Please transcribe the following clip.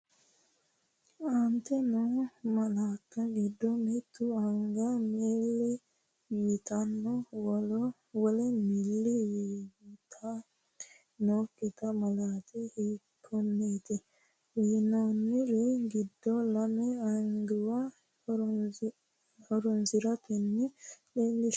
Aante noo malaatta giddo mitte anga milli yitanna wole milli yitan- nokkiti malaati hiikkonneeti? Uyinoonniri giddo lame anguwa horoonsi’ratenni leellinshanni ma- laati hiikkonneeti?